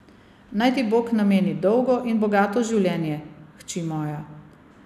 Naj ti Bog nameni dolgo in bogato življenje, hči moja.